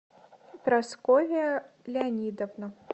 прасковья леонидовна